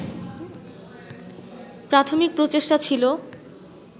প্রাথমিক প্রচেষ্টা ছিল